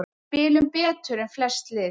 Við spilum betur en flest lið